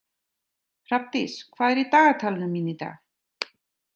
Hrafndís, hvað er í dagatalinu mínu í dag?